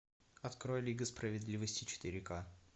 открой лига справедливости четыре ка